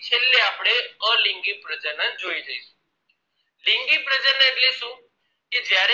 સૌથી પહેલા આપને લિંગી પ્રજનન ને ભણીશું એના પછી છેલ્લે આપણે અલિંગી પ્રજનન જોઈશું લિંગી પ્રજનન એટલે શું કે જયારે